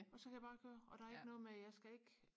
og så kan jeg bare køre og der er ikke noget med jeg skal ikke